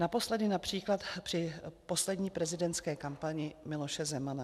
Naposledy například při poslední prezidentské kampani Miloše Zemana.